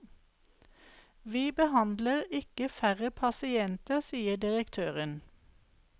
Vi behandler ikke færre pasienter, sier direktøren.